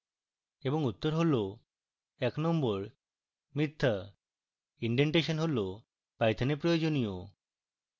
এবং উত্তর হল